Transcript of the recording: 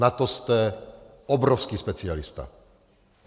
Na to jste obrovský specialista.